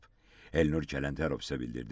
Elnur Kələntərov isə bildirdi ki,